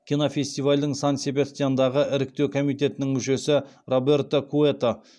кинофестивальдің сан себастьяндағы іріктеу комитетінің мүшесі роберто куэто